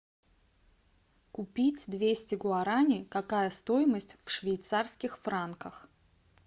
купить двести гуараней какая стоимость в швейцарских франках